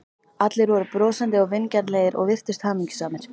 Allir voru brosandi og vingjarnlegir og virtust hamingjusamir.